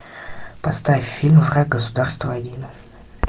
поставь фильм враг государства один